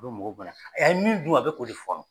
U bɛ mɔgɔw bana a y'a min dun a bɛ k'o de fɔnɔ.